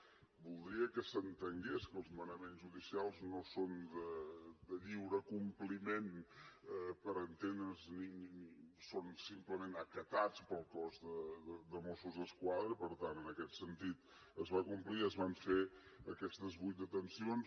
i voldria que s’entengués que els manaments judicials no són de lliure compliment per entendre’ns són simplement acatats pel cos de mossos d’esquadra i per tant en aquest sentit es va complir i es van fer aquestes vuit detencions